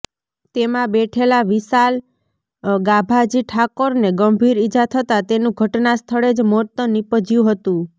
તેમાં બેઠેલા વિશાલ ગાભાજી ઠાકોરને ગંભીર ઇજા થતા તેનું ઘટના સ્થળે જ મોત નિપજ્યુ હતું